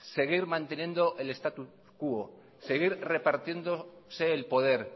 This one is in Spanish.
seguir manteniendo el status quo seguir repartiéndose el poder